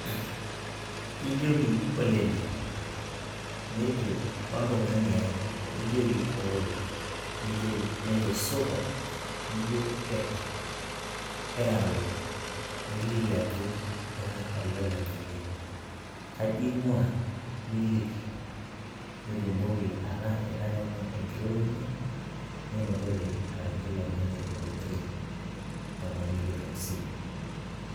ijoki olele, nejo ontung'ani ae, nijoki ooe nejo supa, nijo ipa nijo ipa ira alo, niliki ajo ira olole ng'ania, kaji ing'ua? niliki nitumoki ataa itang'amua enkirorokino ninotore ayaki ilo tung'ani tenkoitoi naa oltung'ani kitok sii.